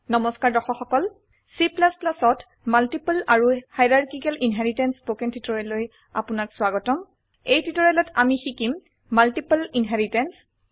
নমস্কাৰ দৰ্শক সকল Cত মাল্টিপল আৰু হাইৰাৰ্কিকেল ইনহেৰিটেন্স স্পকেন টিউটোৰিয়েললৈ আপোনাক স্ৱাগতম এই টিউটোৰিয়েলত আমি শিকিম মাল্টিপল ইনহেৰিটেন্স